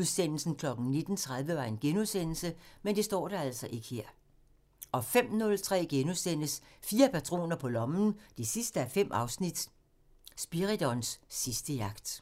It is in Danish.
Søstersind 1:4 – Ned med patriarkatet! 05:03: Fire patroner på lommen 5:5 – Spiridons sidste jagt *